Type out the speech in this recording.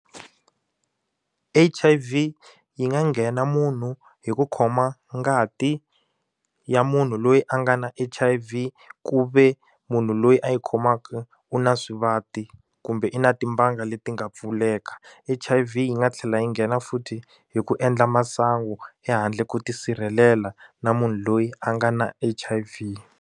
H_I_V yi nga nghena munhu hi ku khoma ngati ya munhu loyi a nga na H_I_V ku ve munhu loyi a yi khomaka u na swivati kumbe i na timbanga leti nga pfuleka H_I_V yi nga tlhela yi nghena futhi hi ku endla masangu ehandle ko tisirhelela na munhu loyi a nga na H_I_V.